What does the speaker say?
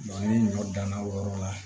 ni ɲɔ dan na o yɔrɔ la